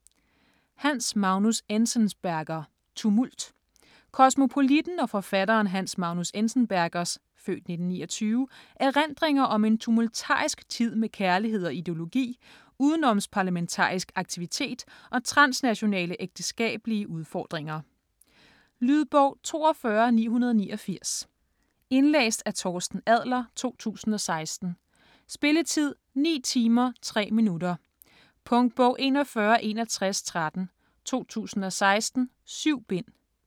Enzensberger, Hans Magnus: Tumult Kosmopolitten og forfatteren Hans Magnus Enzensbergers (f. 1929) erindringer om en tumultarisk tid med kærlighed og ideologi, udenomsparlamentarisk aktivitet og transnationale ægteskabelige udfordringer. Lydbog 42989 Indlæst af Torsten Adler, 2016. Spilletid: 9 timer, 3 minutter. Punktbog 416113 2016. 7 bind.